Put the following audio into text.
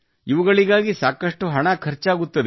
ಇವುಗಳಿಗಾಗಿ ಸಾಕಷ್ಟು ಹಣ ಖರ್ಚಾಗುತ್ತದೆ